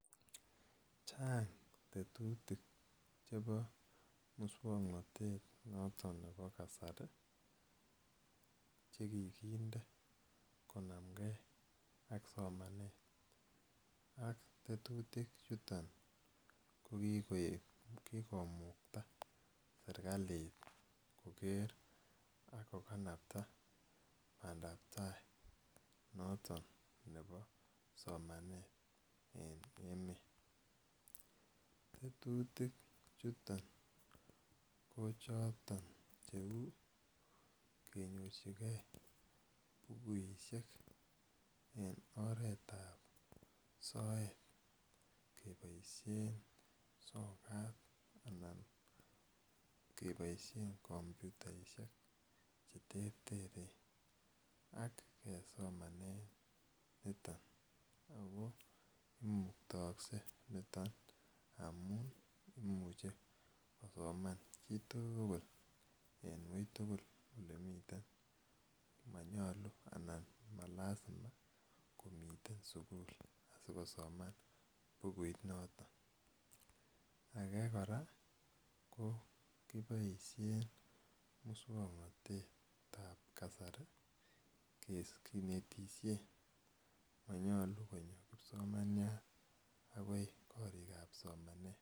Chang' tetutik chepo muswoknotet noton nepo kasari che kikinde konamgei ak somanet. Ak tetutik chuton ko kikoek kikomukta serkalit koker ak kokanapta pandaptai noton nepo somanet en emet. Tetutik chuton ko choton cheu kenyorchigei bukuishek eng' oret ap soet kepaishen sokat anan kepaishe kompyutaishek che terteren ak kesomane niton. Ako imuktaakse niton amun imuchi kosoman chi tugul en wui tugul ole mitei. Manyalu anan ma lasima komiten sukul asikosoman bukuit noton. Age kora ko kipaishen muswoknotet ap kasari kinestishe, mayalu konyo kipsomaniat akoi koriik ap somanet.